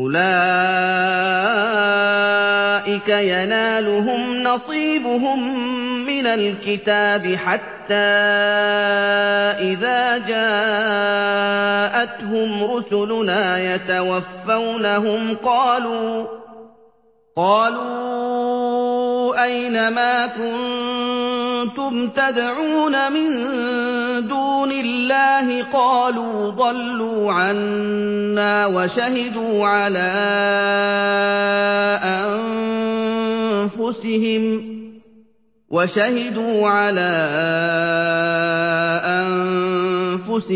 أُولَٰئِكَ يَنَالُهُمْ نَصِيبُهُم مِّنَ الْكِتَابِ ۖ حَتَّىٰ إِذَا جَاءَتْهُمْ رُسُلُنَا يَتَوَفَّوْنَهُمْ قَالُوا أَيْنَ مَا كُنتُمْ تَدْعُونَ مِن دُونِ اللَّهِ ۖ قَالُوا ضَلُّوا عَنَّا وَشَهِدُوا عَلَىٰ